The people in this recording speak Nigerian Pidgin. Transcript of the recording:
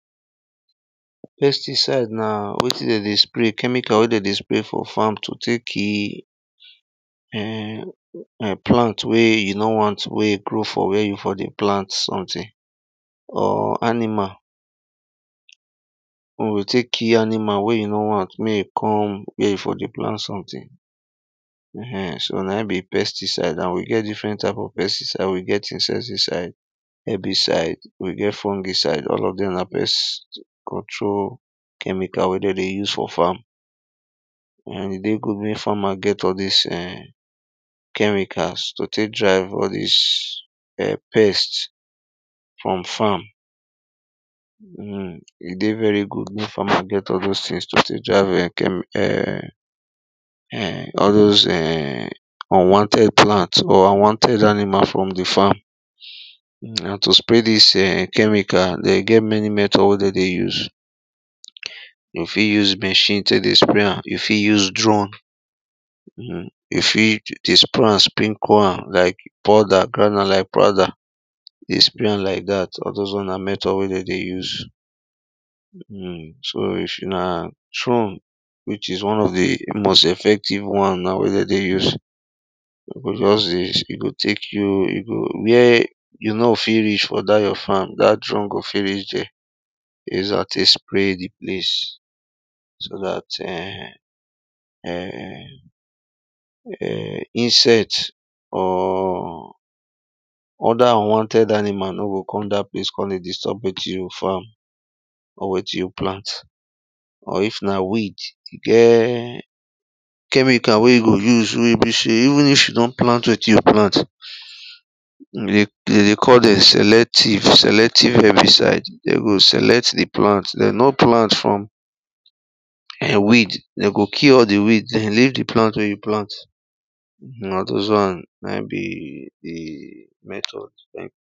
Pesticide na wetin they dey spray chemical wey they dey spray for farm to take kill um plant wey you no want wey grow for where you for dey plant something or animal wey we take kill animal wey you no want make come where you for dey plant something um so na be pesticide and we get different type of pesticide, we get insecticide, herbicide, we get fungicide, all of them na pest control chemicals wey they use for farm. um It dey good make farmer get all these um chemicals to take drive all these um pests from farm. um It dey very good make farmer get all those things to take drive all those um unwanted plant or unwanted animal from the farm. And to spray these chemical they get many methods wey they use. You fit use machine take dey spray am, you fit use drone, um you fit just spray am, spray am sprinkle am like powder, granule like powder, you spray am like that, all those one na method wey they use. um So if na drone, which is one of the most effective one now wey they use, you go just this, it go take you, where you no fit reach for that your farm, that drone go fit reach there. um So that um um insects or other unwanted animal no go come that place come dey disturb waiting you farm or wetin you plant. Or if na weed, it get chemical wey you go use wey be say even if you don plant wetin you plant, they they call dem selective, selective herbicide. They go select the plant, they no plant from weed. They go kill all the weed, they go leave the plant wey you plant. All those one na be the method. thank you